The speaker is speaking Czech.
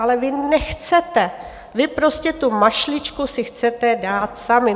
Ale vy nechcete, vy prostě tu mašličku si chcete dát sami.